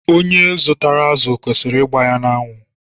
Onye zụtara azụ kwesịrị ịgba ya n'anwụ.